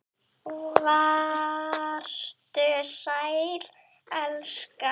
Vertu sæll, elska.